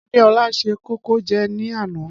Adéọlá se kókò jẹ ní àná.